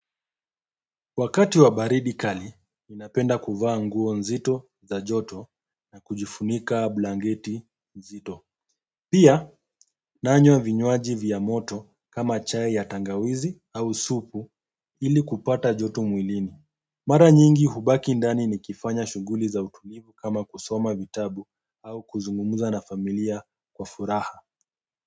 Wakati wa baridi kali, ninapenda kuvaa nguo nzito za joto na kujifunika blangeti nzito. Pia, nanywa vinywaji vya moto kama chai ya tangawizi au supu ili kupata joto mwilini. Mara nyingi hubaki ndani nikifanya shughuli za utulivu kama kusoma vitabu au kuzungumza na familia kwa furaha.